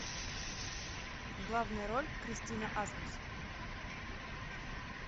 главная роль кристина асмус